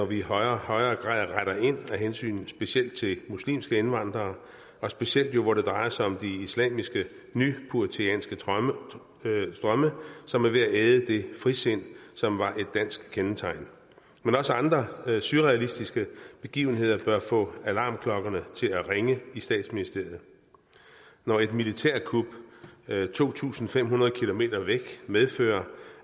vi i højere og højere grad retter ind af hensyn til specielt muslimske indvandrere og specielt jo hvor det drejer sig om de islamiske nypuritanske drømme som er ved at æde det frisind som var et dansk kendetegn men også andre surrealistiske begivenheder bør få alarmklokkerne til at ringe i statsministeriet når et militærkup to tusind fem hundrede km væk medfører